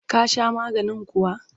Ka sha maganin kuwa?